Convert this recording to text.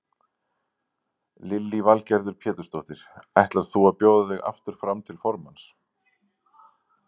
Lillý Valgerður Pétursdóttir: Ætlar þú að bjóða þig aftur fram til formanns?